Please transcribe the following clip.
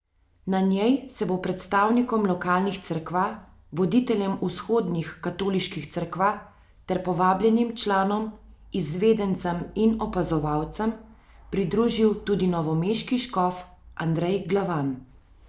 Na njej se bo predstavnikom lokalnih cerkva, voditeljem vzhodnih katoliških cerkva ter povabljenim članom, izvedencem in opazovalcem pridružil tudi novomeški škof Andrej Glavan.